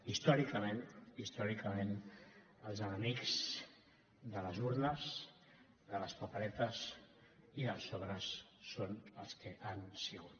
històricament històricament els enemics de les urnes de les paperetes i dels sobres són els que han sigut